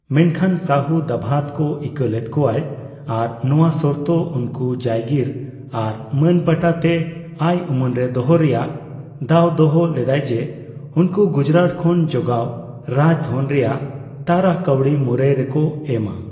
ᱢᱮᱱᱠᱷᱟᱱ, ᱥᱟᱦᱩ ᱫᱟᱵᱷᱟᱫ ᱠᱚ ᱤᱠᱟᱹ ᱞᱮᱫ ᱠᱳᱣᱭᱟᱭ ᱟᱨ ᱱᱳᱣᱟ ᱥᱚᱨᱛᱚ ᱩᱱᱠᱩ ᱡᱟᱭᱜᱤᱨ ᱟᱨ ᱢᱟᱹᱱᱯᱟᱴᱟ ᱛᱮ ᱟᱹᱭ ᱩᱢᱟᱹᱱ ᱨᱮ ᱫᱚᱦᱚ ᱨᱮᱭᱟᱜ ᱫᱟᱣ ᱫᱚᱦᱚ ᱞᱮᱫᱟᱭ ᱡᱮ, ᱩᱱᱠᱩ ᱜᱩᱡᱨᱟᱴ ᱠᱷᱚᱱ ᱡᱚᱜᱟᱣ ᱨᱟᱡᱽ ᱫᱷᱚᱱ ᱨᱮᱭᱟᱜ ᱛᱟᱨᱟ ᱠᱟᱹᱣᱰᱤ ᱢᱩᱨᱟᱹᱭ ᱨᱮᱠᱚ ᱮᱢᱼᱟ ᱾